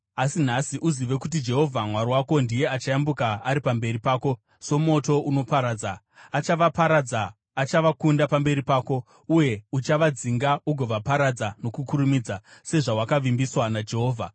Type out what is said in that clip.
Asi nhasi uzive kuti Jehovha Mwari wako ndiye achayambuka ari pamberi pako somoto unoparadza. Achavaparadza; achavakunda pamberi pako. Uye uchavadzinga ugovaparadza nokukurumidza sezvawakavimbiswa naJehovha.